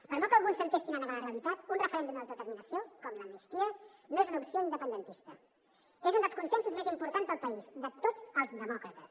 per molt que alguns s’entestin a negar la realitat un referèndum d’autodeterminació com l’amnistia no és una opció independentista és un dels consensos més importants del país de tots els demòcrates